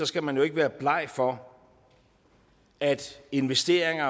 skal man jo ikke være bleg for at investeringer